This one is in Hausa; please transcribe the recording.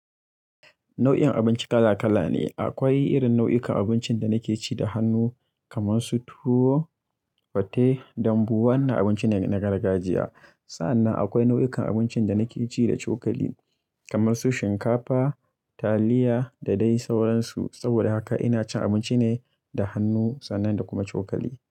Nau'in abinci kala kala ne. Akwai irin nau'ikan abincin da nake ci da hannu, kamar su tuwo, fate, dambu. Wannan abinci ne na gargajiya. Sannan akwai nau'ikan abincin da nake ci da cokali, kamar su shinkafa, taliya da dai sauransu. Saboda haka ina cin abinci ne da hannu sannan da kuma cokali.